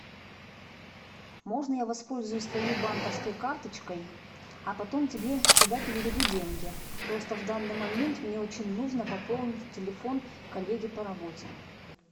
можно я воспользуюсь твоей банковской карточкой а потом тебе туда переведу деньги просто в данный момент мне очень нужно пополнить телефон коллеге по работе